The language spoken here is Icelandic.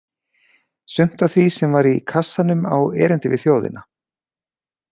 Sumt af því sem var í kassanum á erindi við þjóðina.